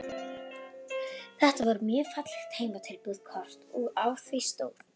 Þetta var mjög fallegt heimatilbúið kort og á því stóð